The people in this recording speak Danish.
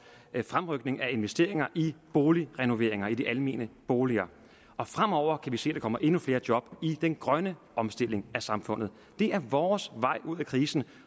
fremrykning af investeringer i boligrenoveringer i de almene boliger og fremover kan vi se at der kommer endnu flere job i den grønne omstilling af samfundet det er vores vej ud af krisen